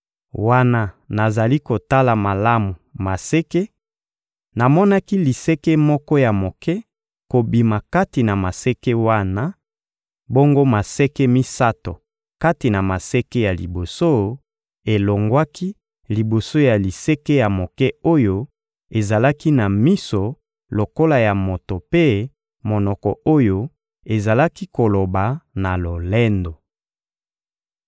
Wana nazali kotala malamu maseke, namonaki liseke mosusu ya moke kobima kati na maseke wana; bongo maseke misato kati na maseke ya liboso elongwaki liboso ya liseke ya moke oyo ezalaki na miso lokola ya moto mpe monoko oyo ezalaki koloba na lolendo.